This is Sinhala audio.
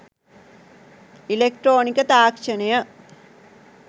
ඉලෙක්ට්‍රොනික තාක්‍ෂණය